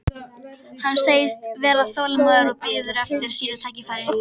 Hann segist vera þolinmóður og biður eftir sínu tækifæri.